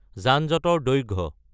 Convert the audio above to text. যানজঁটৰ দৈৰ্ঘ্য